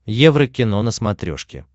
еврокино на смотрешке